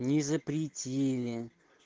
не запретили